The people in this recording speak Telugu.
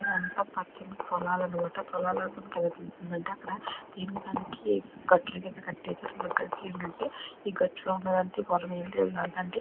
ఇదంతా పచ్చని పొలాలన్నమాట పొలాలని మనకి ఎలా తెలుస్తుంది అంటే అక్కడ దేనికి దానికి గట్ల కింద కట్టేశారు అంటే ఏంటంటే గట్టులో ఉన్నది పొలంము నాదంటే --